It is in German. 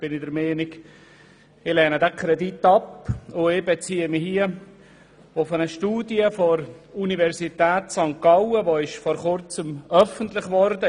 Ich lehne diesen Kredit ab, und ich beziehe mich hierbei auf eine Studie der Universität St. Gallen, die kürzlich veröffentlicht wurde.